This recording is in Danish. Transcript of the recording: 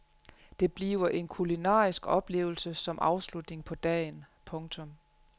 Det bliver en kulinarisk oplevelse som afslutning på dagen. punktum